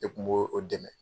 E Kun b'o o dɛmɛ.